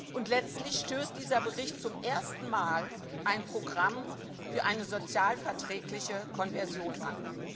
mehr. Und letztlich stößt dieser Bericht zum ersten Mal ein Programm für eine sozial verträgliche Konversion